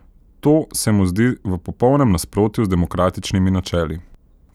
To se mu zdi v popolnem nasprotju z demokratičnimi načeli.